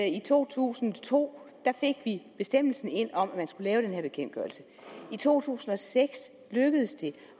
i to tusind og to fik bestemmelsen ind om at man skulle lave den her bekendtgørelse og i to tusind og seks lykkedes det